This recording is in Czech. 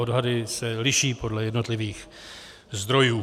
Odhady se liší podle jednotlivých zdrojů.